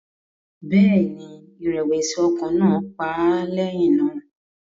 Bẹ́ẹ̀ ni, ìrẹ̀wẹ̀sì ọkàn náà pa á lẹ́yìn náà